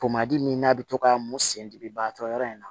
Tomadi min n'a bɛ to ka mun sen dimi baatɔ yɔrɔ in na